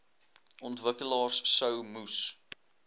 ontwikkelaars sou moes